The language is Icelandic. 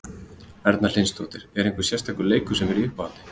Erla Hlynsdóttir: Einhver sérstakur leikur sem er í uppáhaldi?